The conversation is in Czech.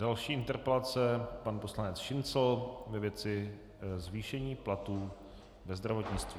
Další interpelace pan poslanec Šincl ve věci zvýšení platů ve zdravotnictví.